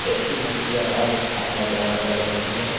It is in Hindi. ऐसी मूर्तियां राजस्थान में ज्यादातर बनती है।